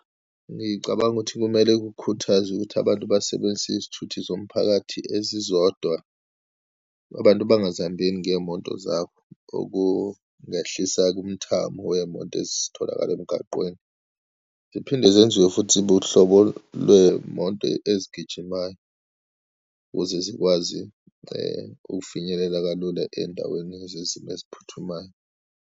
Ngicabanga ukuthi kumele kukhuthazwe ukuthi abantu basebenzise izithuthi zomphakathi ezizodwa. Abantu bangazihambeli ngeyimoto zabo, okungehlisa kumthamo weyimoto ezitholakala emgaqweni, ziphinde zenziwe futhi ibe uhlobo lweyimoto ezigijimayo ukuze zikwazi ukufinyelela kalula endaweni yezezimo eziphuthumayo.